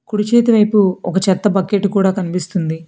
కుడిచేతి వైపు ఒక చెత్త బకెట్ కూడ కనిపిస్తుంది.